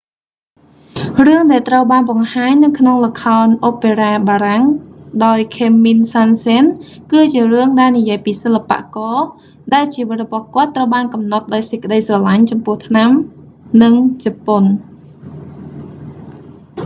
រឿង ដែលត្រូវបានបង្ហាញនៅក្នុងល្ខោនអូប៉េរ៉ាបារាំងដោយខេមមីល សាន់សេន camille saint-saens គឺជារឿងដែលនិយាយពីសិល្បករ ដែលជីវិតរបស់គាត់ត្រូវបានកំណត់ដោយសេចក្តីស្រឡាញ់ចំពោះថ្នាំ និង ជប៉ុន